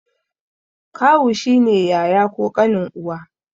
Kawu shi ne yaya ko ƙanin uwa.